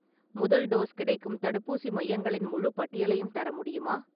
முதல் டோஸ் கிடைக்கும் தடுப்பூசி மையங்களின் முழுப் பட்டியலையும் தர முடியுமா?